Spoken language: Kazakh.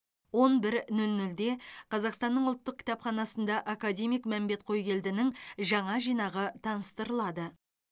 он бір нөл нөлде қазақстанның ұлттық кітапханасында академик мәмбет қойгелдінің жаңа жинағы таныстырылады